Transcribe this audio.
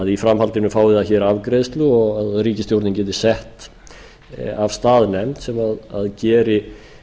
í framhaldinu fái það afgreiðslu og ríkisstjórnin geti sett af stað nefnd sem geri